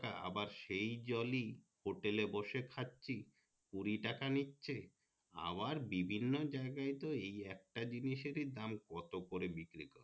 আবার সেই জলই হোটেলে বসে খাচ্ছি কুঁড়ি টাকা নিচ্ছে আবার বিভিন্ন জায়গাই এই একটা জিনিসের দাম কত করে বিক্রি করছে